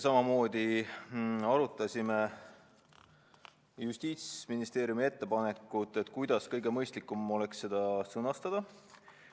Samamoodi arutasime Justiitsministeeriumi ettepanekut, kuidas oleks kõige mõistlikum seda sõnastada.